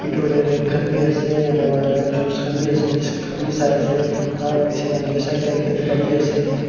khan bhi ase nar kane juice khan bhi ase biscuit khan bhi sai ase alag alag side te alag dusk bhi sai se.